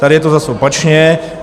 Tady je to zas opačně.